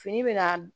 Fini bɛ ka